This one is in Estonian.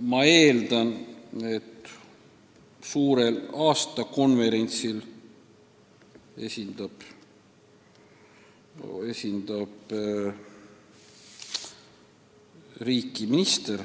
Ma eeldan, et suurel aastakonverentsil esindab riiki minister,